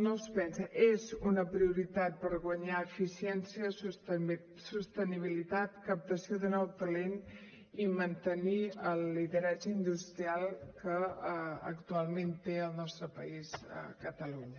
no es pensa és una prioritat per guanyar eficiència sostenibilitat captació de nou talent i mantenir el lideratge industrial que actualment té el nostre país catalunya